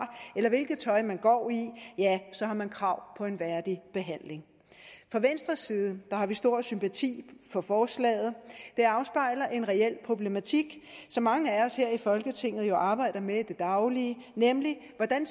eller hvilket tøj man går i har man krav på en værdig behandling fra venstres side har vi stor sympati for forslaget det afspejler en reel problematik som mange af os her i folketinget jo arbejder med i det daglige nemlig hvordan